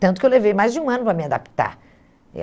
Tanto que eu levei mais de um ano para me adaptar.